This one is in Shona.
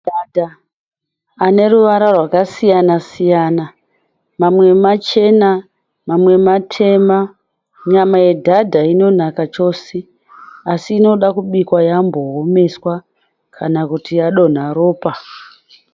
Madhadha anemavara akasiyana siyana. Mwamwe machena, mwamwe matema. Nyama yedhadha inonaka chose, asi inodakubikwa yamboomeswa kana kuti yadonha ropa.